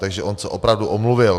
Takže on se opravdu omluvil.